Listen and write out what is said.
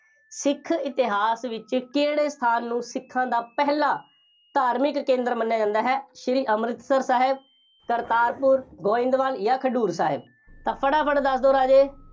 ਸਿੱਖ ਇਤਿਹਾਸ ਵਿੱਚ ਕਿਹੜੇ ਸਥਾਨ ਨੂੰ ਸਿੱਖਾਂ ਦਾ ਪਹਿਲਾ ਧਾਰਮਿਕ ਕੇਂਦਰ ਮੰਨਿਆ ਜਾਂਦਾ ਹੈ। ਸ਼੍ਰੀ ਅੰਮ੍ਰਿਤਸਰ ਸਾਹਿਬ, ਕਰਤਾਰਪੁਰ, ਗੋਇੰਦਵਾਲ ਜਾਂ ਖਡੂਰ ਸਾਹਿਬ, ਤਾਂ ਫਟਾਫਟ ਦੱਸ ਦਿਓ ਰਾਜੇ,